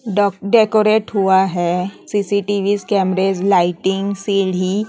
डा डेकोरेट हुआ है सी_सी_टी_वी कैमरेज लाइटिंग सीढ़ी--